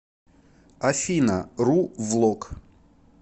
афина ру влог